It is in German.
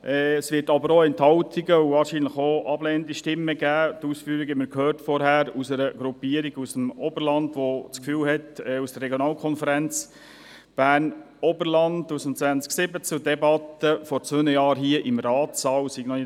Es wird jedoch auch Enthaltungen und ablehnende Stimmen geben, und zwar von einer Gruppierung aus dem Oberland, die das Gefühl hat, die RVK Oberland habe noch nicht alles aufgearbeitet, was vor zwei Jahren hier im Ratssaal gesagt worden ist.